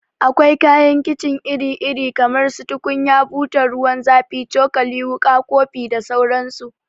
Akwai kayan kicin iri iri kamar su tukunya, butan ruwan zafi, cokali, wuka, kofi da sauran su